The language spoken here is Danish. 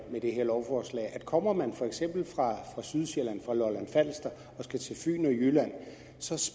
at det her lovforslag at kommer man for eksempel fra sydsjælland og lolland falster og skal til fyn og jylland